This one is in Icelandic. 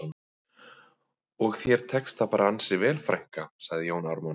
Og þér tekst það bara ansi vel frænka, sagði Jón Ármann